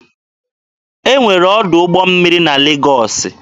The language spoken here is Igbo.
E nwere ọdụ ụgbọ mmiri na Legọọsị.